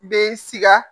Bɛ sika